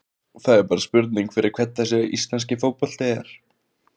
Það er bara spurning fyrir hvern þessi íslenski fótbolti er?